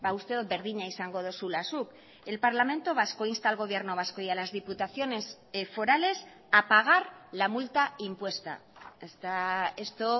uste dut berdina izango duzula zuk el parlamento vasco insta al gobierno vasco y a las diputaciones forales a pagar la multa impuesta esto